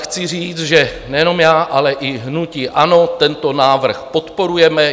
Chci říct, že nejenom já, ale i hnutí ANO tento návrh podporujeme.